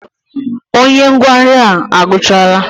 Onye ngụgharị ahụ agụchaala?